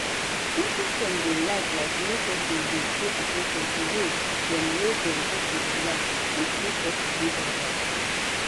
simple step dem like like make peson dey pay at ten tion to way dem wey dem take dey chillax fit make peson dey alrite.